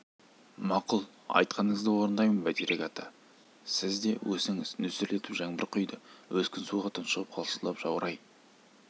мақұл айтқаныңызды орындаймын бәйтерек ата сіз де өсіңіз нөсерлетіп жаңбыр құйды өскін суға тұншығып қалшылдап жаурай